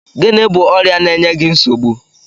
Gịnị bụ ọrịa na-eye gị nsogbu?